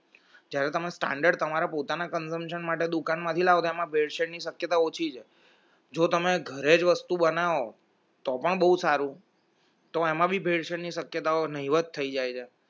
જ્યારે તમે standard તમારા પોતાના consumption માટે દુકાનમાંથી લાવો તો એમાં ભેળસેળ ની શક્યતા ઓછી છે